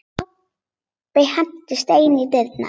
Kobbi henti steini í dyrnar.